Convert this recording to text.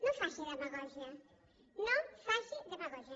no faci demagògia no faci demagògia